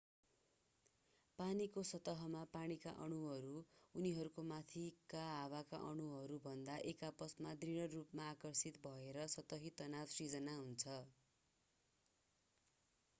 पानीको सतहमा पानीका अणुहरू उनीहरूको माथिका हावाका अणुहरूभन्दा एक आपसमा दृढ रूपमा आकर्षित भएर सतही तनाव सृजना हुन्छ